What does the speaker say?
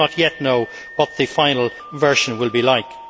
We do not yet know what the final version will be like.